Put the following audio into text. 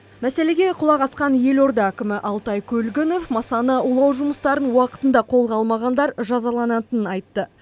мәселеге құлақ асқан елорда әкімі алтай көлгінов масаны улау жұмыстарын уақытында қолға алмағандар жазаланатынын айтты